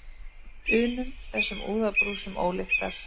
unum, þessum úðabrúsum ólyktar.